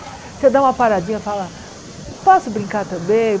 Você dá uma paradinha e fala, posso brincar também?